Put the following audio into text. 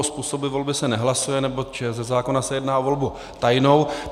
O způsobu volby se nehlasuje, neboť ze zákona se jedná o volbu tajnou.